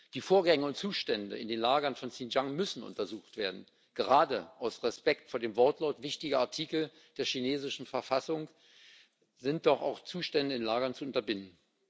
Die Vorgänge und Zustände in den Lagern von Xinjiang müssen untersucht werden gerade aus Respekt vor dem Wortlaut wichtiger Artikel der chinesischen Verfassung sind doch auch Zustände in Lagern zu unterbinden.